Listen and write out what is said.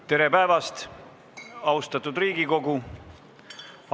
Tere päevast, austatud Riigikogu!